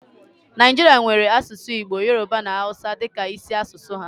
Naijirịa nwèrè asụsụ Igbo, Yoroba na Awụsa dịka isi asụsụ ha